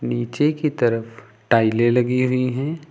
नीचे की तरफ टाइलें लगी हुई हैं।